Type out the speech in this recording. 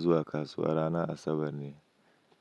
Zuwa kasuwa ranar Asabar ne,